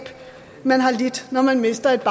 man har lidt når man mister et